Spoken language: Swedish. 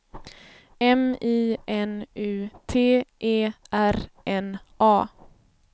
M I N U T E R N A